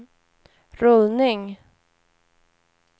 rullning